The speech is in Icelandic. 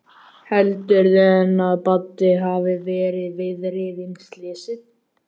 Heldurðu enn að Baddi hafi verið viðriðinn slysið?